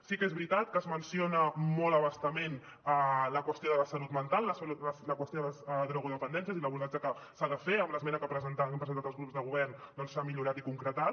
sí que és veritat que es menciona molt a bastament la qüestió de la salut mental la qüestió de les drogodependències i l’abordatge que s’hi ha de fer amb l’esmena que hem presentat els grups de govern s’ha millorat i concretat